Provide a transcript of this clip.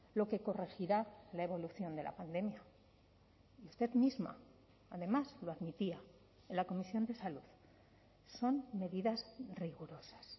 lo que corregirá la evolución de la pandemia usted misma además lo admitía en la comisión de salud son medidas rigurosas